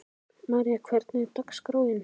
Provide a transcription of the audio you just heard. María, hvernig er dagskráin?